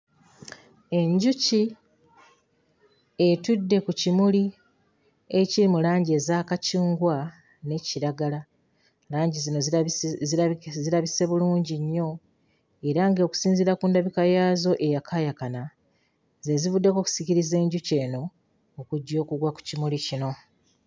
Enjuki etudde ku kimuli ekiri mu langi eza kacungwa ne kiragala. Langi zino zirabisi zirabiki zirabise bulungi nnyo era ng'okusinziira ku ndabika yaazo eyakaayakana ze zivuddeko okusikiriza enjuki eno okujja okugwa ku kimuli kino.